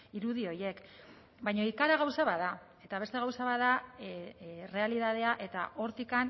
irudi horiek baina ikara gauza bat da eta beste gauza bat da errealitatea eta hortik